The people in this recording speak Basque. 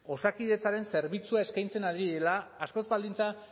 osakidetzaren zerbitzua eskaintzen ari direla askoz baldintza